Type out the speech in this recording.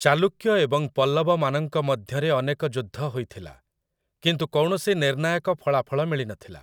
ଚାଲୁକ୍ୟ ଏବଂ ପଲ୍ଲବମାନଙ୍କ ମଧ୍ୟରେ ଅନେକ ଯୁଦ୍ଧ ହୋଇଥିଲା, କିନ୍ତୁ କୌଣସି ନିର୍ଣ୍ଣାୟକ ଫଳାଫଳ ମିଳିନଥିଲା ।